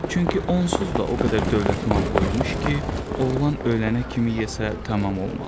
Çünki onsuz da o qədər dövlət mal qoymuş ki, oğlan ölənə kimi yesə tamam olmaz.